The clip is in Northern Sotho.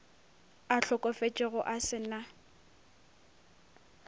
a hlokofetšego a se na